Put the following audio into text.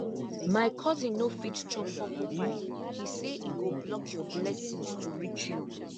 my cousin no fit chop porcupine he say e go block your blessings to reach you